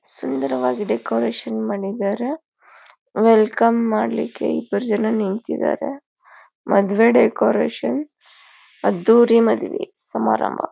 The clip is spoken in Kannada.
ಸುಂದರವಾಗಿ ಡೆಕೋರೇಷನ್ ಮಾಡಿದ್ದಾರೆ ವೆಲ್ಕಮ್ ಮಾಡ್ಲಿಕ್ಕೆ ಇಬ್ರು ಜನ ನಿಂತಿದ್ದಾರೆ ಮದ್ವೆ ಡೆಕೋರೇಷನ್ ಅದ್ದೂರಿ ಮದ್ವೆ ಸಮಾರಂಭ.